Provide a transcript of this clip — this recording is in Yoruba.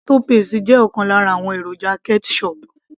tomato paste jẹ́ ọ̀kan lára àwọn èròjà ketchup